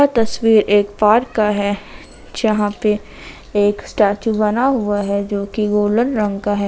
यह तस्वीर एक पार्क का है जहां पे एक स्टेचू बना हुआ है जो की गोल्डन रंग का है।